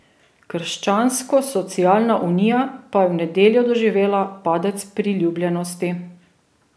Krščanskosocialna unija pa je v nedeljo doživela padec priljubljenosti.